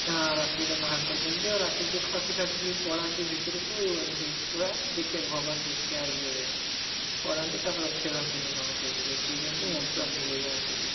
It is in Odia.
ହଁ ରାତି ରେ ବାହାର କରି ଦିଅନ୍ତି ଆଉ ରାତିରେ ଯିଏ ଖସି ଖାସି କି ପଳାନ୍ତି ଭିତରକୁ ଏମିତି ଦେଖିବାକୁ ଭଗବାନ ଦେଖିବା ଇଏ ରେ ପଳାନ୍ତି ତାପରେ ଆଉ ଫେରନ୍ତିନି କଣ ସେଇଠି ଦେଖେଇଦିଅନ୍ତି ମୁଖ୍ୟ ପ୍ରାପ୍ତି ହେଇଯାଏ ସେଇଠି